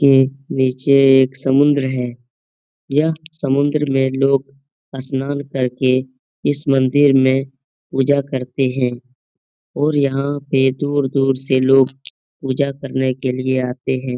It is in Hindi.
के नीचे एक समुन्द्र है। यह समुन्द्र में लोग स्नान करके इस मंदिर में पूजा करते हैं और यहाँ पे दूर-दूर से लोग पूजा करने के लिए आते हैं ।